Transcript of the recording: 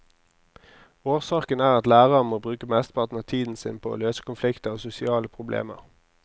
Årsaken er at lærerne må bruke mesteparten av tiden sin på å løse konflikter og sosiale problemer.